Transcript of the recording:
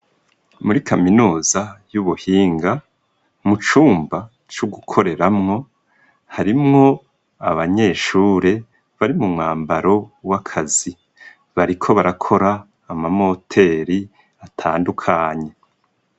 Muri kaminuza y'ubuhinga, mu cumba c'ugukoreramwo, harimwo abanyeshure bari mu mwambaro w'akazi. Bariko barakora amamoteri atandukanye.